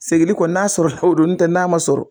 Segin kɔni n'a sɔrɔ o don n' tɛ n'a ma sɔrɔ